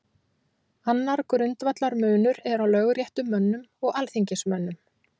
Annar grundvallarmunur er á lögréttumönnum og alþingismönnum.